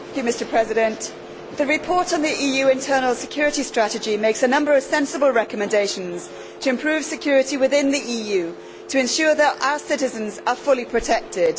Mr President, the report on the EU internal security strategy makes a number of sensible recommendations for improving security within the EU to ensure that our citizens are fully protected.